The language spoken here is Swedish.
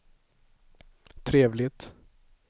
trevligt